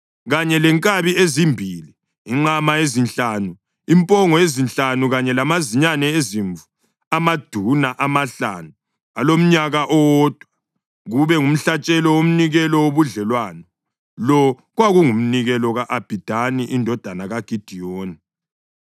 kanye lenkabi ezimbili, inqama ezinhlanu, impongo ezinhlanu kanye lamazinyane ezimvu amaduna amahlanu alomnyaka owodwa, kube ngumhlatshelo womnikelo wobudlelwano. Lo kwakungumnikelo ka-Abhidani indodana kaGidiyoni.